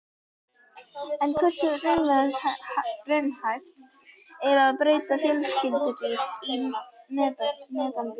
En hversu raunhæft er að breyta fjölskyldubíl í metanbíl?